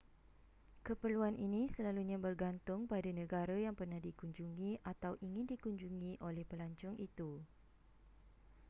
keperluan ini selalunya bergantung pada negara yang pernah dikunjungi atau ingin dikunjungi oleh pelancong itu